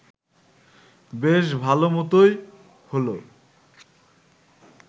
বেশ ভালমতই হল